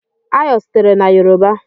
Ayo sitere na yoruba.